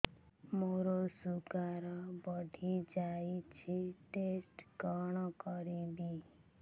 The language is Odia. ମୋର ଶୁଗାର ବଢିଯାଇଛି ଟେଷ୍ଟ କଣ କରିବି